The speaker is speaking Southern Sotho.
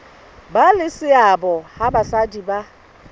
ba le seabo ha basadi